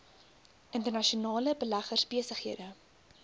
internasionale beleggers besighede